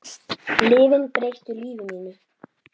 Lyfin breyttu lífi mínu.